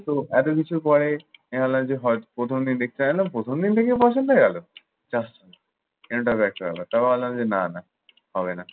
তো এতকিছু করে airlines এর host প্রথম দিন দেখতে গেলাম প্রথম দিন থেকেই পছন্দ হয়ে গেল। কি আশ্চর্য! end টাও দেখতে হবে তাও আল্লাহ যদি না নেয়। হবে না।